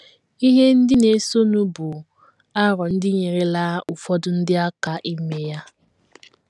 Ihe ndị na - esonụ bụ aro ndị nyeerela ụfọdụ ndị aka ime ya.